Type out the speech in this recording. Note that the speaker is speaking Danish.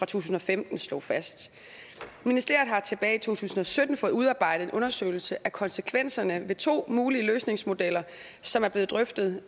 tusind og femten slog fast ministeriet har tilbage i to tusind og sytten fået udarbejdet en undersøgelse af konsekvenserne ved to mulige løsningsmodeller som er blevet drøftet